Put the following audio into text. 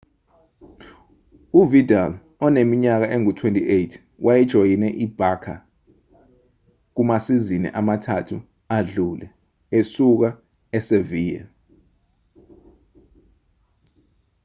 uvidal oneminyaka engu-28 wayejoyine i-barça kumasizini amathathu adlule esuka e-sevilla